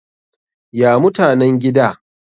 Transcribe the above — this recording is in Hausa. ya mutanen gida?